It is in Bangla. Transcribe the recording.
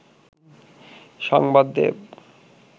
সংবাদ দেব